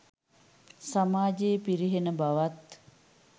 සමාජයේ පිරිහෙන බවත්